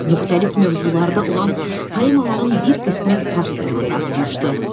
Müxtəlif mövzularda olan poemaların bir qismi fars dilində yazılmışdı.